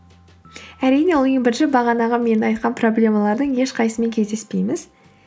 әрине ол ең бірінші бағанағы мен айтқан проблемалардың ешқайсысымен кездеспейміз